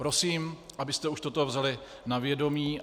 Prosím, abyste už toto vzali na vědomí.